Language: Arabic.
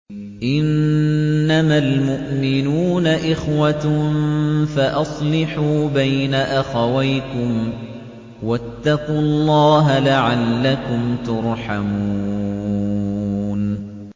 إِنَّمَا الْمُؤْمِنُونَ إِخْوَةٌ فَأَصْلِحُوا بَيْنَ أَخَوَيْكُمْ ۚ وَاتَّقُوا اللَّهَ لَعَلَّكُمْ تُرْحَمُونَ